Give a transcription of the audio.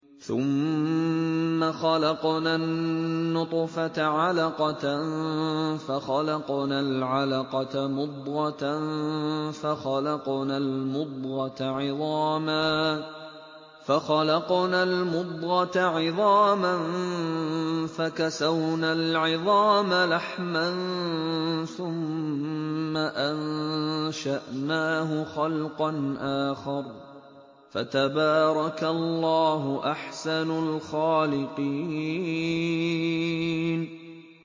ثُمَّ خَلَقْنَا النُّطْفَةَ عَلَقَةً فَخَلَقْنَا الْعَلَقَةَ مُضْغَةً فَخَلَقْنَا الْمُضْغَةَ عِظَامًا فَكَسَوْنَا الْعِظَامَ لَحْمًا ثُمَّ أَنشَأْنَاهُ خَلْقًا آخَرَ ۚ فَتَبَارَكَ اللَّهُ أَحْسَنُ الْخَالِقِينَ